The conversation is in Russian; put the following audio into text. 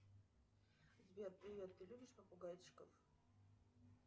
сбер привет ты любишь попугайчиков